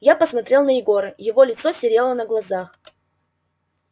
я посмотрел на егора его лицо серело на глазах